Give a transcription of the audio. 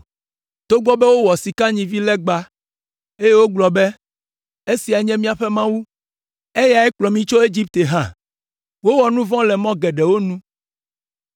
togbɔ be wowɔ sikanyivilegba, eye wogblɔ be ‘Esiae nye míaƒe mawu! Eyae kplɔ mi tso Egipte’ hã. Wowɔ nu vɔ̃ le mɔ geɖewo nu,